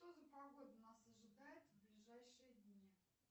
что за погода нас ожидает в ближайшие дни